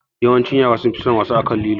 Yawancin yara sunfi son wasa akan lilo